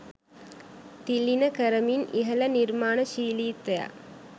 තිළිණ කරමින් ඉහළ නිර්මාණශීලීත්වයක්